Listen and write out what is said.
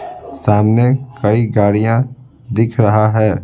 सामने कई गाड़ियां दिख रहा है।